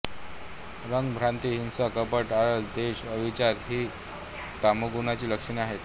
राग भ्रांती हिंसा कपट आळस द्वेष अविचार ही तमोगुणाची लक्षणे आहेत